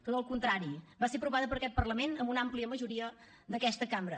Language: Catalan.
tot el contrari va ser aprovada per aquest parlament amb una àmplia majoria d’aquesta cambra